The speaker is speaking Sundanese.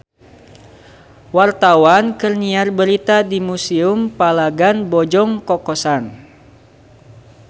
Wartawan keur nyiar berita di Museum Palagan Bojong Kokosan